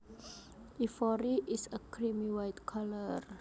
Ivory is a creamy white color